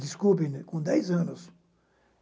Desculpe-me, com dez anos.